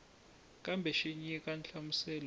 kambe xi nyika nhlamuselo yo